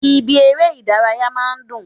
Ibi eré Ìdárayá máa n dùn